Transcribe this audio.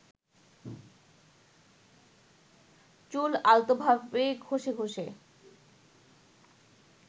চুল আলতোভাবে ঘষে ঘষে